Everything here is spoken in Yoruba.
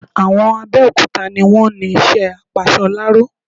Àwọn Abẹ́okúta ni wọ́n ni isẹ́ apasoláró